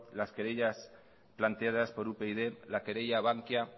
las querellas planteadas por upyd la querella bankia